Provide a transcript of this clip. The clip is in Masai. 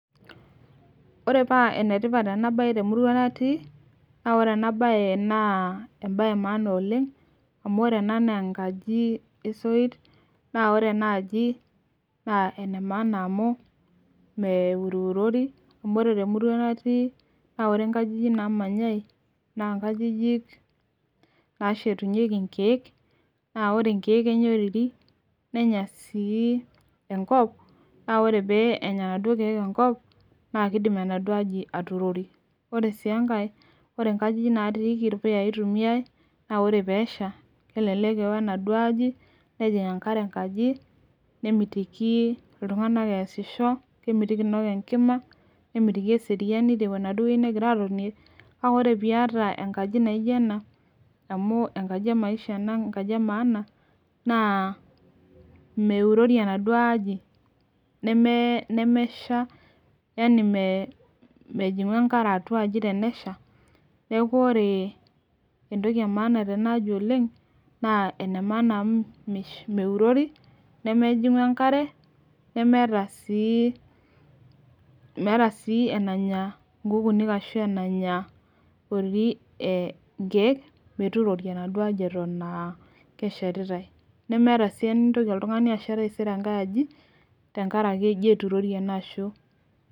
Ore paa ene tipat ena bae temurua natii, naa ore ena bae naa ebae emaana oleng, amu ore ena naa enkaji, esoit. naa ore ena aji naa ene maana amu meururori, amu ore temurua natii, naa ore nkajijik naamanyae naa nkajijik, naashetunyeki nkeek. naa ore nkeek Kenya oriri nenya sii, enkop. naa ore pee enya inaduoo keek enkop, naa kidim enaduoo aji atuurori. ore sii enkae ore nkajijik natiiki ilpuyayi itumiae, naa ore peesha. kelelek eo enaduoo aji nejing enkare enkaji. nemitiki iltunganak ekesisho. kemitiki naaji inok enkima. nemitiki eseriani tenaduoo wueji negira aatonie, kake ore pee iyata enkaji naijo ena, amu enkaji emaisha ena enkaji emaana naa meurori enaduoo aji ,nemesha, yani mejingu enkare atua aji tenesha. neeku ore entoki emaana tenaaji oleng. naa ene maana amu meururori, nemejingu enkare, nemeeta sii meeta sii enamya nkukunik ashu enaanya oriri nkeek metuurori enaduoo aji Eton aa keshetotae. nemeeta sii enintoki oltungani ashet altaisere enkae aji tenkaraki eji metuurori ena shu.